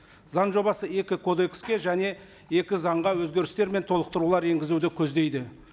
заң жобасы екі кодекске және екі заңға өзгерістер мен толықтырулар енгізуді көздейді